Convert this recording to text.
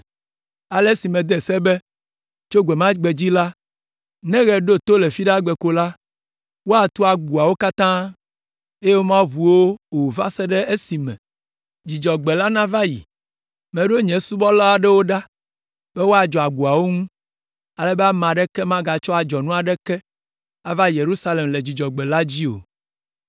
Ale mede se be tso gbe ma gbe dzi la, ne ɣe ɖo to le Fiɖagbe ko la, woatu agboawo katã, eye womagaʋu wo o va se ɖe esime Dzudzɔgbe la nava yi. Meɖo nye subɔla aɖewo ɖa be woadzɔ agboawo ŋu, ale be ame aɖeke magatsɔ adzɔnu aɖeke ava Yerusalem le Dzudzɔgbe la dzi o.